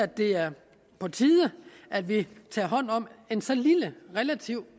det er på tide at vi tager hånd om en så lille og relativt